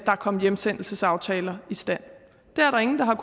kom hjemsendelsesaftaler i stand det er der ingen der har